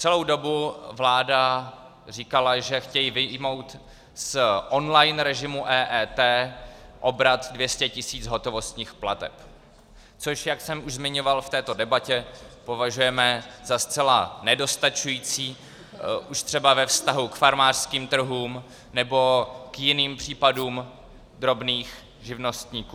Celou dobu vláda říkala, že chtějí vyjmout z online režimu EET obrat 200 tis. hotovostních plateb, což, jak jsem už zmiňoval v této debatě, považujeme za zcela nedostačující, už třeba ve vztahu k farmářským trhům nebo k jiným případům drobných živnostníků.